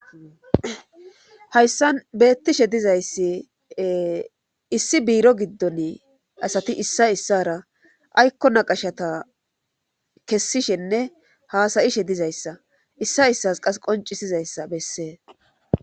hayssan beettishe dizayssi issi biiro giddon asati issa issara aykko naqashata kessishenne haasayishe dizayssa issa issas qas qoncisizayssa bessee